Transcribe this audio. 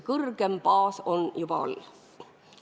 Kõrgem baas on juba all.